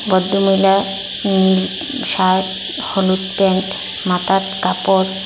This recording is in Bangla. ভদ্রমহিলা উম শার্ট হলুদ প্যান্ট মাথার কাপড়--